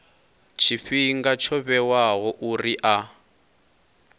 tshifhinga tsho vhewaho uri a